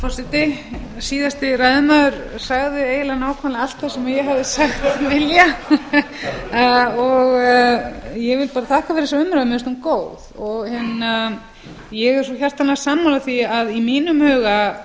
forseti síðasti ræðumaður sagði eiginlega nákvæmlega allt sem ég hefði sagt vilja ég vil bara þakka fyrir þessa umræðu mér finnst hún góð ég er svo hjartanlega sammála því að í mínum huga